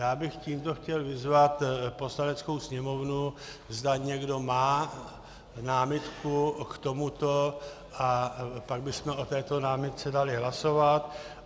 Já bych tímto chtěl vyzvat Poslaneckou sněmovnu, zda někdo má námitku k tomuto, a pak bychom o této námitce dali hlasovat.